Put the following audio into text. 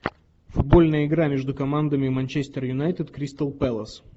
футбольная игра между командами манчестер юнайтед кристал пэлас